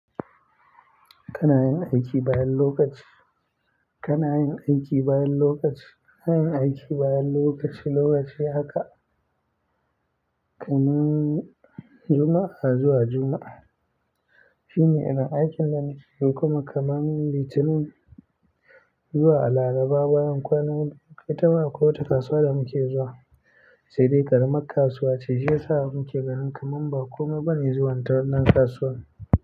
Kana yin aiki bayan lokaci. Kana yin aiki bayan lokaci. Yin aiki bayan lokaci, lokaci haka. KamanJuma'a zuwa Juma'a. Shine irin aikin da muke yi kuma kaman Litinin zuwa laraba, bayan kwana bakwai ita ma alwi wata kasuwar da muke zuwa. Sai dai ƙaramar kasuwa ce, shi ya sa muke ganin kamam ba komai bane zuwan ta wannan kasuwan.